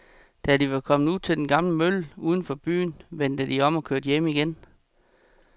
Da de var kommet ud til den gamle mølle uden for byen, vendte de om og kørte hjem igen.